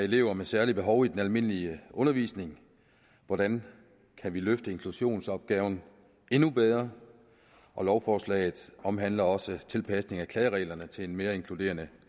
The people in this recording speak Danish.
af elever med særlige behov i den almindelige undervisning hvordan kan vi løfte inklusionsopgaven endnu bedre og lovforslaget omhandler også tilpasning af klagereglerne til en mere inkluderende